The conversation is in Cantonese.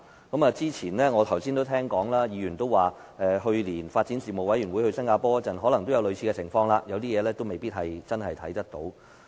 剛才我也聽到有議員說，發展事務委員會去年到新加坡考察時也曾遇上類似情況，指有些事未必能真正看見。